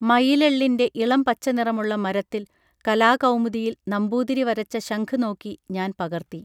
മയിലെള്ളിന്റെ ഇളം പച്ചനിറമുള്ള മരത്തിൽ കലാകൗമുദിയിൽ നമ്പൂതിരി വരച്ച ശംഖ് നോക്കി ഞാൻ പകർത്തി